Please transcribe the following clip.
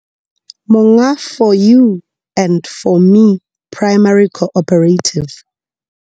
Monga 4 U and 4 Me Primary Cooperative.